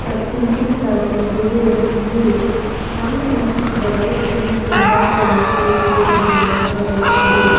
प्रस्तुतीकरण दे रही है रंगमंच बहोत ही सुंदर तरीके से सजाया गया है।